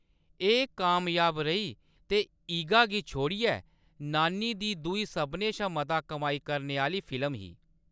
एह्‌‌ कामयाब रेही ते ईगा गी छोड़ियै नानी दी दूई सभनें शा मता कमाई करने आह्‌‌‌ली फिल्म ही।